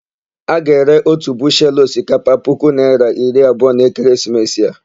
A ga-ere ótù bushelu osikapa puku naịra iri abụọ n'ekeresimesi a.